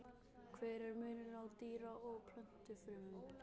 Hver er munurinn á dýra- og plöntufrumum?